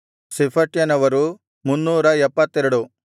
ಶೆಫಟ್ಯನವರು 372